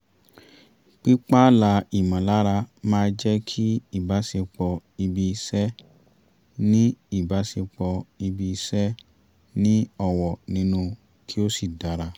pí pààlà ìmọ̀lára máa jẹ́ kí ìbásepọ̀ ibi-iṣẹ́ ní ìbásepọ̀ ibi-iṣẹ́ ní ọ̀wọ̀ nínú kí ó sì dára